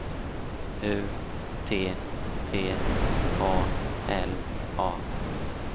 U T T A L A